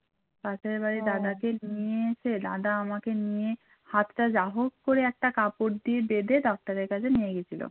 নিয়ে এসে দাদা আমাকে নিয়ে হাতটা যাহোক করে একটা কাপড় দিয়ে বেঁধে ডাক্তারের কাছে নিয়ে গিয়েছিল।